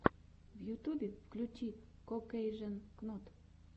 в ютубе включи кокэйжен кнот